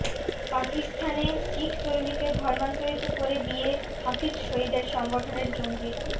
পাকিস্তানে শিখ তরুণীকে ধর্মান্তরিত করে বিয়ে হফিজ সঈদের সংগঠনের জঙ্গির